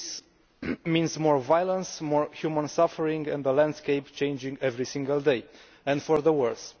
This means more violence, more human suffering and the landscape changing every single day and for the worse.